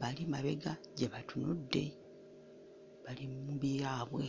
bali mabega gye batunudde bali mu byabwe.